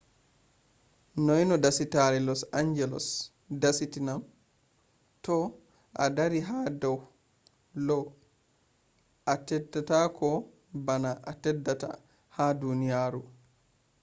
noi no dasatare lo's dasata'am? toh a dari ha dau lo atteddako bano a teddata ha duniyaro